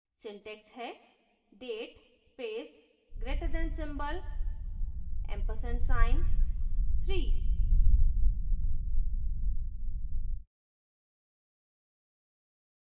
syntax है: date space greaterthan symbol ampersand sign 3